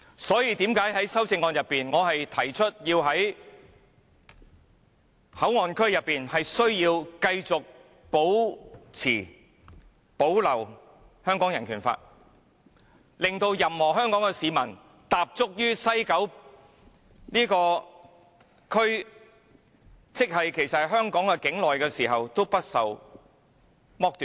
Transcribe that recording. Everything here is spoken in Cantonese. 正因如此，我在修正案中提出內地口岸區須繼續保留香港人權法案，令任何一名香港市民在踏足西九龍站——即其實是香港境內時，也不會被剝奪權利。